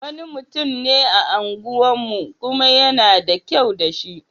Wani mutum ne a unguwarmu, kuma yana da kyau da shi.